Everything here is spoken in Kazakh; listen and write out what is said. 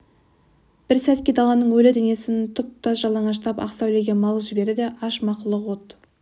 бір сәтке даланың өлі денесін тұп-тұтас жалаңаштап ақ сәулеге малып жіберді де аш мақұлық от